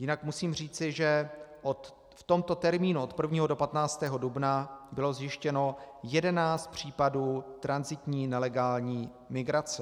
Jinak musím říci, že v tomto termínu od 1. do 15. dubna bylo zjištěno 11 případů tranzitní nelegální migrace.